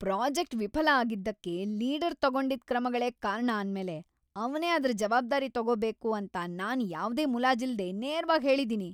Project ವಿಫಲ ಆಗಿದ್ದಕ್ಕೆ leader ತಗೊಂಡಿದ್‌ ಕ್ರಮಗಳೇ ಕಾರಣ ಅಂದ್ಮೇಲೆ ಅವ್ನೇ ಅದ್ರ ಜವಾಬ್ದಾರಿ ತಗೋಬೇಕು ಅಂತ ನಾನ್ ಯಾವ್ದೇ ಮುಲಾಜಿಲ್ದೇ ನೇರ್ವಾಗ್ ಹೇಳಿದೀನಿ.